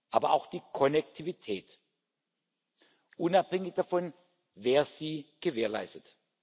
wir, aber auch die Konnektivität, unabhängig davon, wer sie gewährleistet.